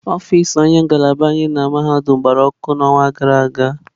Ọfịs onye isi ngalaba anyị na mahadum gbara ọkụ n'ọnwa gara aga.